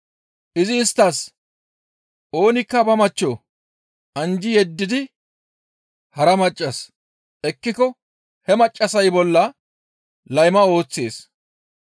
Izi isttas, «Oonikka ba machcho anjji yeddidi hara maccas ekkiko he maccassay bolla layma ooththees.